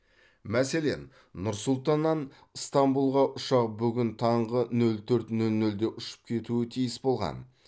мәселен нұр сұлтаннан ыстамбулға ұшақ бүгін таңғы нөл төрт нөл нөлде ұшып кетуі тиіс болған